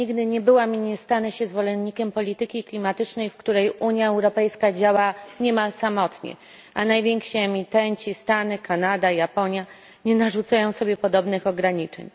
Nigdy nie byłam i nie stanę się zwolenniczką polityki klimatycznej, w której Unia Europejska działa niemal samotnie, a najwięksi emitenci Stany, Kanada, Japonia nie narzucają sobie podobnych ograniczeń.